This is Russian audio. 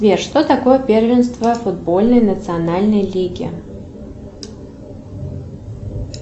сбер что такое первенство футбольной национальной лиги